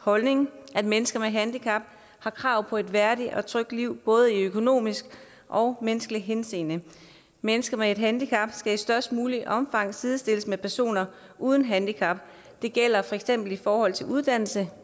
holdning at mennesker med handicap har krav på et værdigt og trygt liv både i økonomisk og menneskeligt henseende mennesker med et handicap skal i størst muligt omfang sidestilles med personer uden handicap det gælder for eksempel i forhold til uddannelse